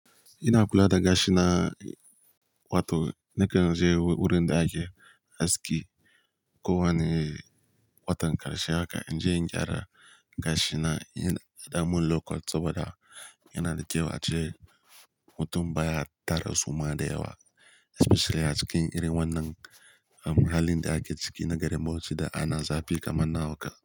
Ina kula da gashina, watan, nakan je wurin da ake haski. Ko wane watan ƙarshe haka in je in gyara gashina. Idan an mun low cut saboda yana da kyau ace mutum baya tara suma da yawa especially a cikin irin wannan muhallin da ake ciki na garin Bauchi da ana zafi kamar na hauka.